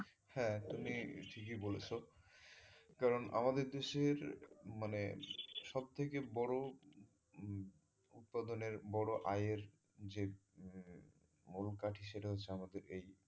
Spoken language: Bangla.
হ্যাঁ তুমি ঠিকই বলেছো কারন আমাদের দেশের মানে সব থেকে বড় উৎপাদনের বড় আয়ের যে উম সেটা হচ্ছে আমাদের এই,